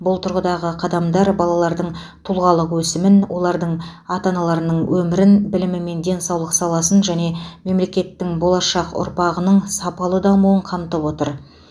бұл тұрғыдағы қадамдар балалардың тұлғалық өсімін олардың ата аналарының өмірін білім мен денсаулық саласын және мемлекеттің болашақ ұрпағының сапалы дамуын қамтып отыр